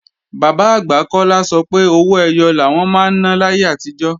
Bàbá-àgbà Kọ́lá sọ pé owó ẹyọ làwọn máa ń ná láyé àtijọ́